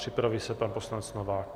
Připraví se pan poslanec Novák.